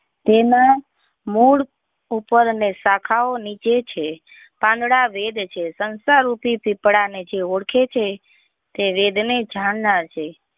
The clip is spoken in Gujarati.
તેના મળ ઉપર ને શાખા ઓ નીચે છે પાંદડા વેદ છે સંસાર રૂપી સૂપડા ને જે ઓળખે છે તે વેદ ને જાણનાર છે.